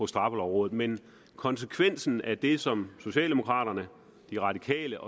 straffelovrådet men konsekvensen af det som socialdemokraterne de radikale